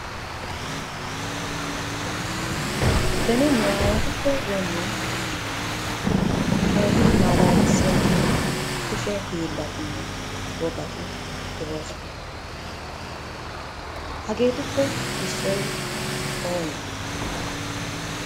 Beni nu aawatuppe doommin keehi malalassiya kushee hiilatu wogati de'oosona. Hageetuppe issoy oone?